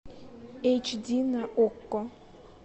эйч ди на окко